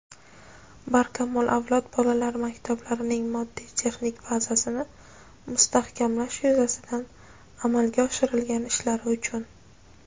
"Barkamol avlod" bolalar maktablarining moddiy-texnik bazasini mustahkamlash yuzasidan amalga oshirgan ishlari uchun.